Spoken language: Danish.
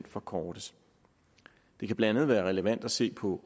forkortes det kan blandt andet være relevant at se på